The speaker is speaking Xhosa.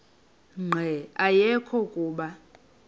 nqe ayekho kuba